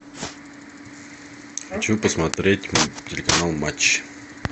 хочу посмотреть телеканал матч